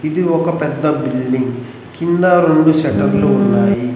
ఇది ఒక పెద్ద బిల్డింగ్ కింద రెండు షటర్లు ఉన్నాయి.